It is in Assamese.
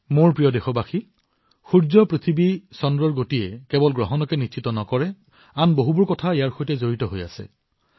মোৰ মৰমৰ দেশবাসীসকল সূৰ্য পৃথিৱী চন্দ্ৰৰ গতিয়ে কেৱল গ্ৰহণ নিৰ্ণয় নকৰে বহু কথা ইয়াৰ সৈতে জড়িত হৈ আছে